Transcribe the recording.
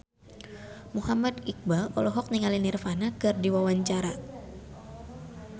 Muhammad Iqbal olohok ningali Nirvana keur diwawancara